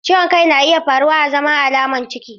Ciwon kai na iya faruwa azaman alamar ciki.